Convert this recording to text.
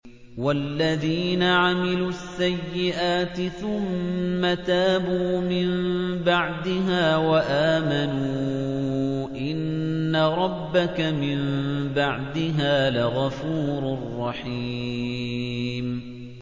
وَالَّذِينَ عَمِلُوا السَّيِّئَاتِ ثُمَّ تَابُوا مِن بَعْدِهَا وَآمَنُوا إِنَّ رَبَّكَ مِن بَعْدِهَا لَغَفُورٌ رَّحِيمٌ